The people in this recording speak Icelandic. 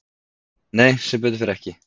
Nei sem betur fer ekki